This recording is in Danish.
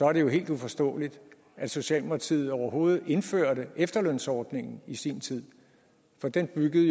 er det jo helt uforståeligt at socialdemokratiet overhovedet indførte efterlønsordningen i sin tid den byggede